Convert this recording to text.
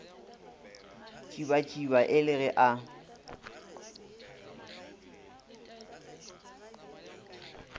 tšibatšiba e le ge a